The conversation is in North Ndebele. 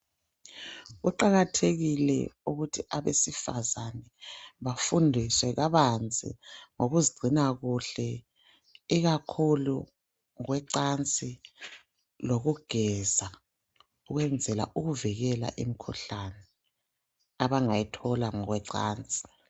kuqakathekile ukuthi abesivazana bafundiwe kabanzi ngokuzigcina kuhle ikakhulu kwecansi lokugeza ukwenzela ukuvikela imkhuhlane abangayithola ngokwecansi